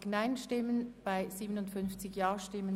Reduktion und Verzicht im Bereich Sport (Massnahme 46.4.2):